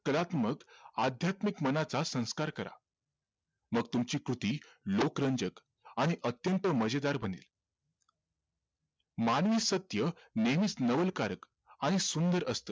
अध्यात्मिक मनाचा संस्कार करा मग तुमची कृती लोकरंजक आणि अत्यंत मजेदार बनेल मानवी सत्य नेहमीच नवलकारक आणि सुंदर असते